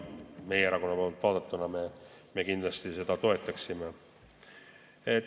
Meie erakond kindlasti seda toetaks.